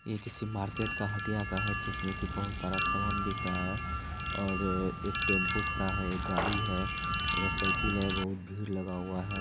ये किसी मार्केट का हटिया का है जिसमें कि बहुत सारा सामान बिक रहा है और एक टेंपू खड़ा है एक गाड़ी है इधर साइकिल है बहुत भीड़ लगा हुआ है।